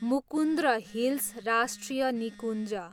Mukundra hills राष्ट्रिय निकुञ्ज